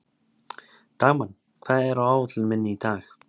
Dagmann, hvað er á áætluninni minni í dag?